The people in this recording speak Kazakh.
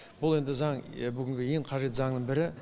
бұл енді заң бүгінге ең қажетті заңның бірі